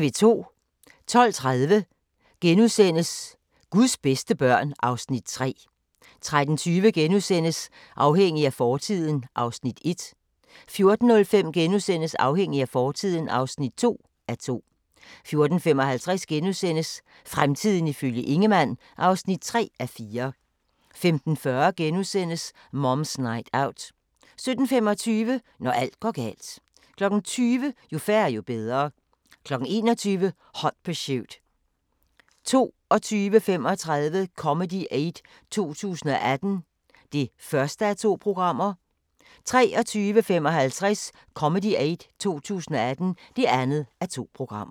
12:30: Guds bedste børn (Afs. 3)* 13:20: Afhængig af fortiden (1:2)* 14:05: Afhængig af fortiden (2:2)* 14:55: Fremtiden ifølge Ingemann (3:4)* 15:40: Mom's Night Out * 17:25: Når alt går galt 20:00: Jo færre, jo bedre 21:00: Hot Pursuit 22:35: Comedy Aid 2018 (1:2) 23:55: Comedy Aid 2018 (2:2)